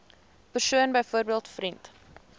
persoon byvoorbeeld vriend